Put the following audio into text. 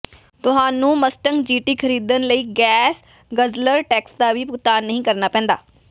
ਤੁਹਾਨੂੰ Mustang GT ਖਰੀਦਣ ਲਈ ਗੈਸ ਗਜ਼ਲਰ ਟੈਕਸ ਦਾ ਵੀ ਭੁਗਤਾਨ ਨਹੀਂ ਕਰਨਾ ਪੈਂਦਾ